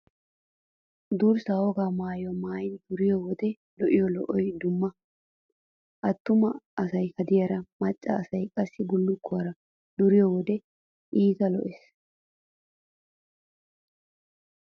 Durssay wogaa maayuwaa maayidi duriyo wodiyan lo'iyo lo'oy dumma. Attuma asay haadiyaara, maccaa asay qassi bullukkuwaara duriyo wode iita lo"ees.